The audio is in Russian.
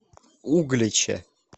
угличе